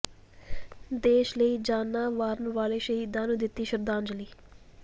ਦੇਸ਼ ਲਈ ਜਾਨਾਂ ਵਾਰਨ ਵਾਲੇ ਸ਼ਹੀਦਾਂ ਨੂੰ ਦਿੱਤੀ ਸ਼ਰਧਾਂਜ਼ਲੀ